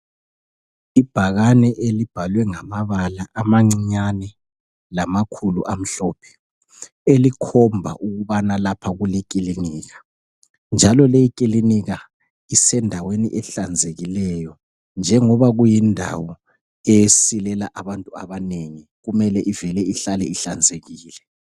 Ibhakane elibhalwe ngamabala amancinyane lamakhulu amhlophe elikhomba ukubana lapha kulekilinika njalo lekilinika isendaweni ehlanzekileyo njengoba kuyindawo esilela abantu abanengi kumele ivele ihlale ihlanzekile .